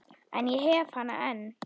En ég hef hana enn.